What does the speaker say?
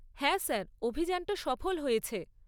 হ্যাঁ স্যার, অভিযানটা সফল হয়েছে।